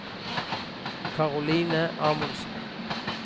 Karoline Amundsen